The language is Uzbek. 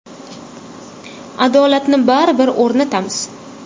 Adolatni baribir o‘rnatamiz.